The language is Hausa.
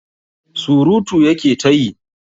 Surutu ya ke ta yi.